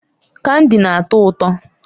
Kandi na-atọ ụtọ.